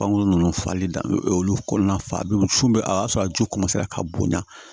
Bangeko nunnu falen dan olu kɔnɔna na fa bɛ cun a y'a sɔrɔ a ju ka bonya